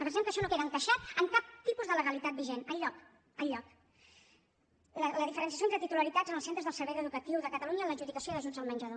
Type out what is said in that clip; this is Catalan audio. pensem que això no queda encaixat en cap tipus de legalitat vigent enlloc enlloc la diferenciació entre titularitats en els centres dels serveis educatius de catalunya en l’adjudicació d’ajuts del menjador